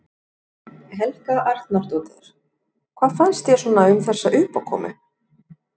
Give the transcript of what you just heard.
Helga Arnardóttir: Hvað fannst þér svona um þessa uppákomu?